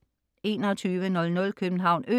2100 København Ø